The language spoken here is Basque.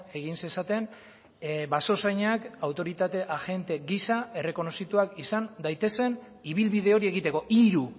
egin zezaten basozainak autoritate agente gisa errekonozituak izan daitezen ibilbide hori egiteko hiru